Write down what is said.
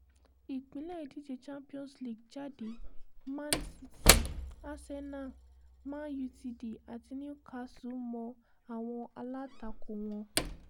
ìpín ìdíje champions league jáde man city arsenal man utd àti newcastle mọ àwọn alátakò wọn